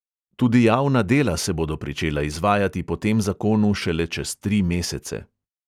Tudi javna dela se bodo pričela izvajati po tem zakonu šele čez tri mesece.